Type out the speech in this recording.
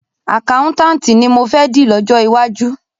Àkáùntànti ni mọ fẹ́ di lọ́jọ́ iwájú.